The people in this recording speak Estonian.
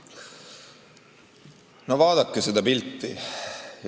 No vaadake seda pilti!